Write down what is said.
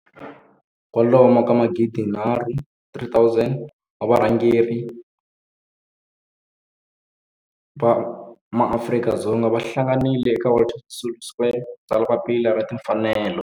kwalomu ka magidi nharhu, 3 000 wa varhangeri va maAfrika-Dzonga va hlanganile eka Walter Sisulu Square ku ta tsala Papila ra Tinfanelo.